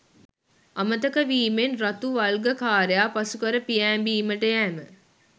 අමතක වීමෙන් රතු වල්ගකාරයා පසුකර පියෑඹීමට යෑම